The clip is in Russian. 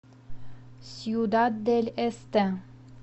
сьюдад дель эсте